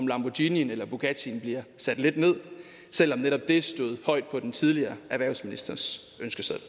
lamborghinien eller bugattien bliver sat lidt ned selv om netop det stod højt på den tidligere erhvervsministers ønskeseddel